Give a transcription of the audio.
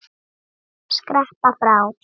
Skreppa frá?